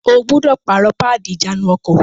O gbúdọ̀ pààrọ̀ páàdì ìjánu-ọkọ̀!